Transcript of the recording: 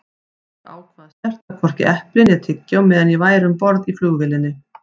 Ég ákvað að snerta hvorki epli né tyggjó meðan ég væri um borð í flugvélinni.